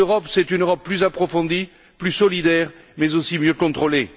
Plus d'Europe, c'est une Europe plus approfondie, plus solidaire, mais aussi mieux contrôlée.